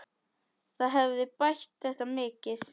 Það hefði bætt þetta mikið.